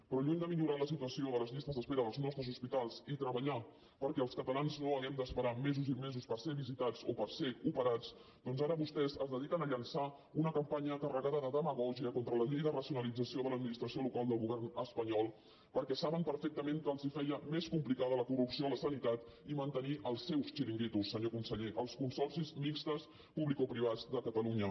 però lluny de millorar la situació de les llistes d’espera dels nostres hospitals i treballar perquè els catalans no hàgim d’esperar mesos i mesos per ser visitats o per ser operats doncs ara vostès es dediquen a llançar una campanya carregada de demagògia contra la llei de racionalització de l’administració local del govern espanyol perquè saben perfectament que els feia més complicada la corrupció a la sanitat i mantenir els seus xiringuitos senyor conseller els consorcis mixtos publicoprivats de catalunya